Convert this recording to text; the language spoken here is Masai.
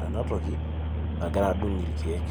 ena toki nagira adung irkiek